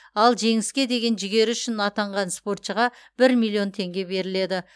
ал жеңіске деген жігері үшін атанған спортшыға бір миллион теңге беріледі